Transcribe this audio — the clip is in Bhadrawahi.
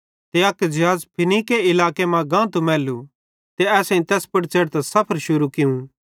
ते अक ज़िहाज़ फीनीके इलाके जो गांतू मैल्लू त असां तैस पुड़ च़ेढ़तां सफर शुरू कियूं